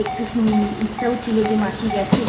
বেশ ইচ্ছাও ছিল যে মাসি গেছে।